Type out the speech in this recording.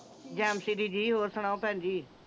ਜਾਨਸੀ ਦੀਦੀ ਹੋਰ ਸੁਣਾਓ ਭੈਣ ਜੀ?